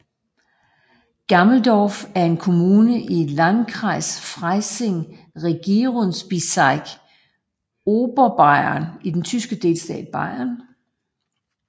Gammelsdorf er en kommune i i Landkreis Freising Regierungsbezirk Oberbayern i den tyske delstat Bayern